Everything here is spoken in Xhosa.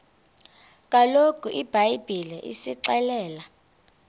kaloku ibhayibhile isixelela